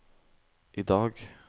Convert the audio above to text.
idag